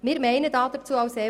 Wir meinen dazu Folgendes: